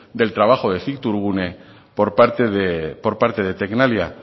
del trabajo de cictourgune por parte de tecnalia